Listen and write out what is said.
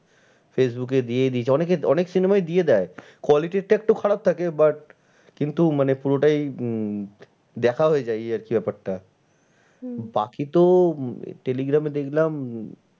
Facebook এ দিয়েই দিয়েছে অনেক cinema ই দিয়ে দেয়। quality টা একটু খারাপ থাকে but কিন্তু মানে পুরোটাই উম দেখা হয়ে যায় এই আর কি ব্যাপারটা। বাকি তো টেলিগ্রামে দেখলাম।